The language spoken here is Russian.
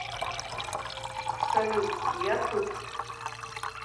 салют я тут